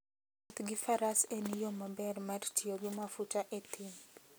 Wuoth gi Faras en yo maber mar tiyo gi mafuta e thim.